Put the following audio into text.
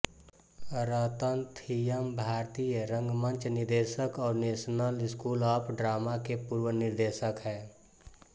रतन थियमभारतीय रंगमंच निदेशक और नेशनल स्कूल ऑफ ड्रामा के पूर्व निदेशक है